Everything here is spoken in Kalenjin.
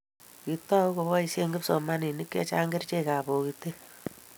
kiitou koboisie kipsomaninik che chang' kerchekab bokite